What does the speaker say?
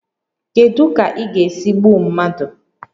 Kedu ka ị ga-esi gbuo mmadụ?